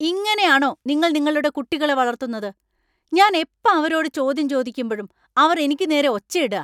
ഇങ്ങനെയാണോ നിങ്ങൾ നിങ്ങളുടെ കുട്ടികളെ വളർത്തുന്നത്? ഞാൻ എപ്പ അവരോട് ചോദ്യം ചോദിക്കുമ്പഴും അവർ എനിക്ക് നേരെ ഒച്ചയിടാ .